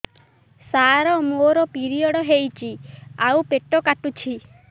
ସାର ମୋର ପିରିଅଡ଼ ହେଇଚି ଆଉ ପେଟ କାଟୁଛି